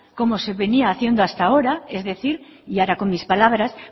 como se venía haciendo hasta ahora es decir y ahora con mis palabras